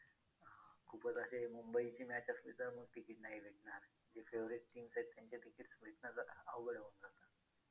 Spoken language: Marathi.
खूपच असे मुंबईची match असली तर मग ticket नाही भेटणार जे favorite teams आहेत त्यांचं ticket भेटण्याचं अवघड होऊन जातं.